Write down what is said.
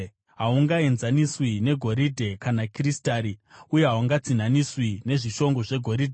Hahungaenzaniswi negoridhe kana kristari, uye hahungatsinhaniswi nezvishongo zvegoridhe.